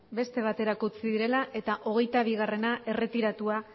beste baterako utzi direlako eta hogeitabigarrena erretiratua